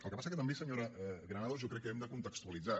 el que passa que també senyora granados jo crec que ho hem de contextualitzar